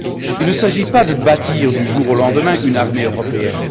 Il ne s'agit pas de bâtir du jour au lendemain une armée européenne.